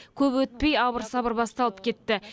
көп өтпей абыр сабыр басталып кетті